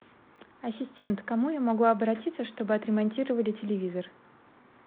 ассистент к кому я могу обратиться чтобы отремонтировали телевизор